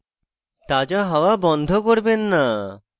তাজা হাত্তয়া বন্ধ করবেন না